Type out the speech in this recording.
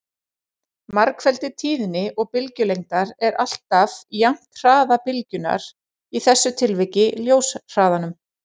Margfeldi tíðni og bylgjulengdar er alltaf jafnt hraða bylgjunnar, í þessu tilviki ljóshraðanum.